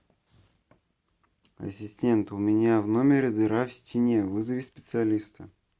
ассистент у меня в номере дыра в стене вызови специалиста